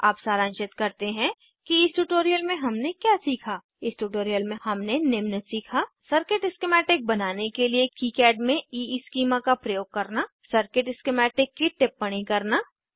अब सारांशित करते हैं कि इस ट्यूटोरियल में हमने क्या सीखा इस ट्यूटोरियल में हमने निम्न सीखा सर्किट स्किमैटिक बनाने के लिए किकाड में ईस्कीमा का प्रयोग करना सर्किट स्किमैटिक की टिप्पणी करना